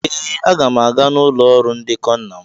Ee! Aga m aga n'ụlọ ọrụ ndekọ nna m.